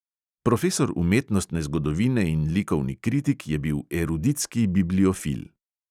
Profesor umetnostne zgodovine in likovni kritik je bil eruditski bibliofil.